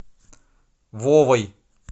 вовой